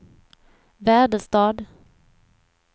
Väderstad